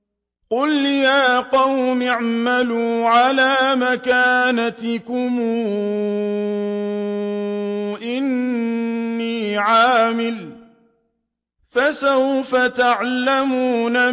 قُلْ يَا قَوْمِ اعْمَلُوا عَلَىٰ مَكَانَتِكُمْ إِنِّي عَامِلٌ ۖ فَسَوْفَ تَعْلَمُونَ